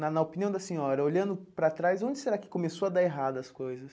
Na na opinião da senhora, olhando para trás, onde será que começou a dar errado as coisas?